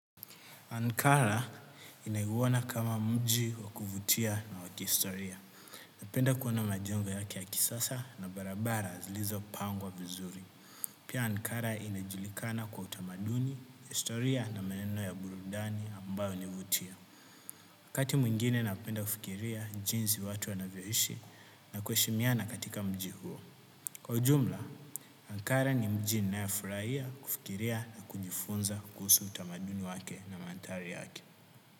Ankara inaiguwana kama mji wakuvutia na wakistoria. Napenda kuona majengo yake ya kisasa na barabara zlizo pangwa vizuri. Pia Ankara inajulikana kwa utamaduni, historia na maeneo ya burudani ambayo inavutia. Wakati mwingine napenda kufikiria jinzi watu anavyoishi na kueshimiana katika mji huo. Kwa ujumla, Ankara ni mji na ya furaia kufikiria na kujifunza kuhusu utamaduni wake na mandhari yake.